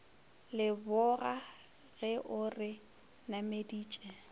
leboga ge o re nameditše